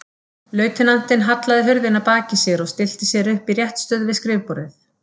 Lautinantinn hallaði hurðinni að baki sér og stillti sér upp í réttstöðu við skrifborðið.